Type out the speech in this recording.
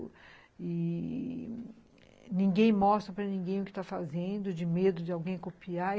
E ninguém mostra para ninguém o que está fazendo, de medo de alguém copiar.